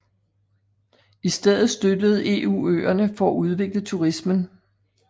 I stedet støttede EU øerne for at udvikle turismen